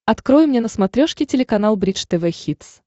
открой мне на смотрешке телеканал бридж тв хитс